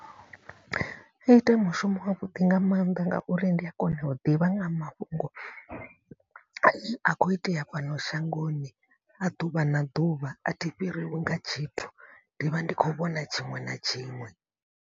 Ita mushumo wa vhuḓi nga maanḓa ngauri ndi a kona u ḓivha nga mafhungo. A ne a khou itea fhano shangoni a ḓuvha na ḓuvha a thi fhiriwi nga tshithu ndi vha ndi khou vhona tshiṅwe na tshiṅwe.